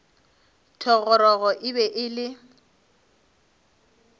thogorogo e be e le